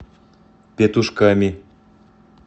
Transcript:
петушками